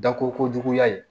Da ko ko juguya ye